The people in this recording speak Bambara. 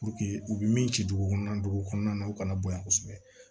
u bɛ min ci dugu kɔnɔna dugu kɔnɔna na u kana bonya kosɛbɛ